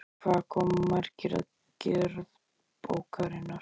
Hvað koma margir að gerð bókarinnar?